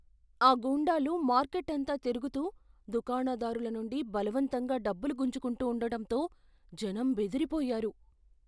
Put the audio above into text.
ఆ గూండాలు మార్కెట్ అంతా తిరుగుతూ దుకాణదారుల నుండి బలవంతంగా డబ్బులు గుంజుకుంటూ ఉండడంతో జనం బెదిరిపోయారు.